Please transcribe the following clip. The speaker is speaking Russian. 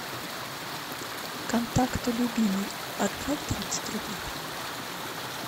контакты любимый отправь тридцать рублей